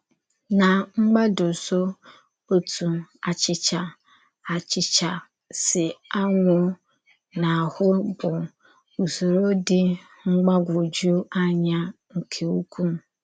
Na mgbàdọ̀sọ̀, òtú àchịchà àchịchà sī ànwúọ̀ n’áhụ̀ bụ Ụ́sọ̀rụ̀ dì mgbàgwújù ànyà nke ukwu.